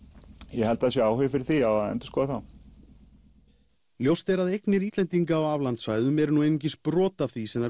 ég held að það sé áhugi fyrir því já að endurskoða þá ljóst er að eignir Íslendinga á aflandssvæðum eru nú einungis brot af því sem